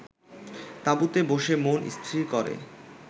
তাঁবুতে বসে মন স্থির করে